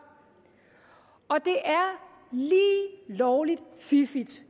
og det er lige lovlig fiffigt